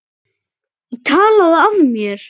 Ég talaði af mér.